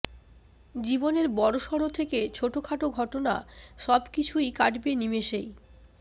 জীবনের বড়সড় থেকে ছোটখাটো ঘটনা সব কিছুই কাটবে নিমেষেই